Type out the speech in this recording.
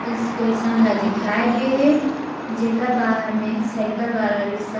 ई station ला दिखाये गए है जेकर बाहर में साइकिल वाला रिक्सा --